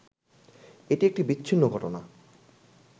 এটি একটি বিচ্ছিন্ন ঘটনা